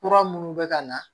Kura minnu bɛ ka na